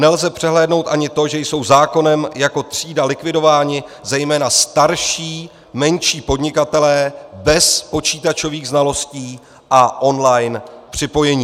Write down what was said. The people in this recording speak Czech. Nelze přehlédnout ani to, že jsou zákonem jako třída likvidováni zejména starší, menší podnikatelé bez počítačových znalostí a online připojení.